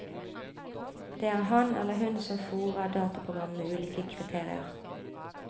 Det er han eller hun som fôrer dataprogrammet med ulike kriterier.